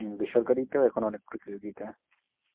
হম বেসরকারিতে ও এখন অনেক প্রতিযোগীতা।